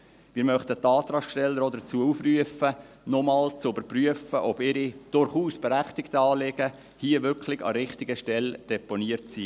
Wir möchten die Antragsteller auch dazu aufrufen, nochmals zu überprüfen, ob ihre – durchaus berechtigten – Anliegen hier wirklich an der richtigen Stelle deponiert sind.